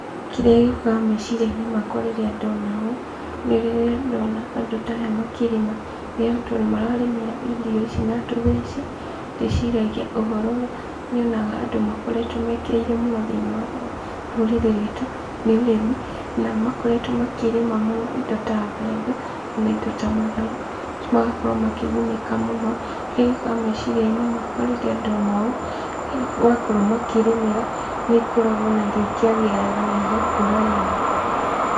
Kĩrĩa gĩũkaga meciria-inĩ makwa rĩrĩa ndona ũũ, nĩ rĩrĩa ndona andũ ta aya makĩrĩma, tondũ mararĩmĩra irio ici na tũtheci, ndĩciragia ũhoro ũrĩa nyonaga andũ makoretwo mekĩrĩire mũno thĩiniĩ wa rũrĩrĩ rwitũ, nĩ ũrĩmi, na makoretwo makĩrĩma mũno indo ta mbembe , ona indo ta matharũ, magakorwo makĩgunĩka mũno, kĩrĩa gĩũkaga meciria-inĩ makwa rĩrĩa ndona ũũ , wakorwo makĩrĩmĩra nĩ ikoragwo ona irio ikĩagĩra wega na igakũra wega.